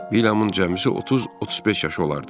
Vilyamın cəmisi 30-35 yaşı olardı.